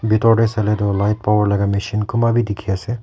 bitor te sai le toh light power laga machine kumba bi dikhi ase.